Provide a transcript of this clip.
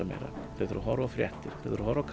meira þau þurfa að horfa á fréttir þau þurfa að horfa á